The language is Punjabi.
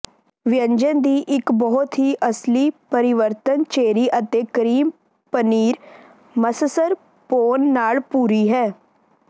ਵਿਅੰਜਨ ਦੀ ਇੱਕ ਬਹੁਤ ਹੀ ਅਸਲੀ ਪਰਿਵਰਤਨ ਚੇਰੀ ਅਤੇ ਕਰੀਮ ਪਨੀਰ ਮਸਸਰਪੋਨ ਨਾਲ ਭੂਰੀ ਹੈ